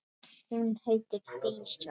Hún heitir Dísa.